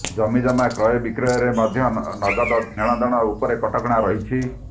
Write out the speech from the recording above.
ଜମିଜମା କ୍ରୟବିକ୍ରୟରେ ମଧ୍ୟ ନଗଦ ନେଣଦେଣ ଉପରେ କଟକଣା ରହିଛି